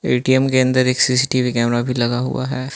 ATM के अंदर एक सी_सी_टी_वी कैमरा भी लगा हुआ है।